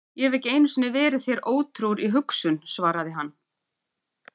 Ég hef ekki einu sinni verið þér ótrúr í hugsun, svaraði hann.